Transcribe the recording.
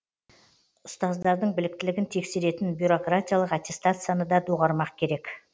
ұстаздардың біліктілігін тексеретін бюрократиялық аттестацияны да доғармақ керек